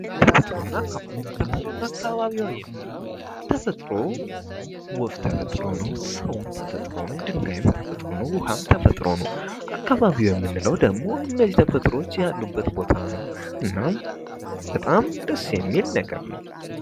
ተፈጥሮና አካባቢዋ፤ ተፈጥሮና አካባቢው የምንለው ተፈጥሮ ወፍ ተፈጥሮ ነው፣ ሰውም ተፈጥሮ ነው፣ ድንጋይም ተፈጥሮ ነው ውሃም ተፈጥሮ ነው አካባቢ ምንለው ደግሞ እነዚህ ተፈጥሮች ያሉበት ቦታ ነው። እናም በጣም ደስ የሚል ነገር ነው።